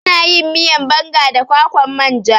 Ana yin miyan banga da kwakwan manja